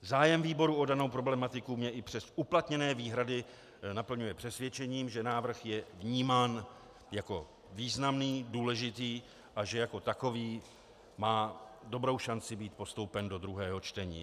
Zájem výboru o danou problematiku mě i přes uplatněné výhrady naplňuje přesvědčením, že návrh je vnímám jako významný, důležitý a že jako takový má dobrou šanci být postoupen do druhého čtení.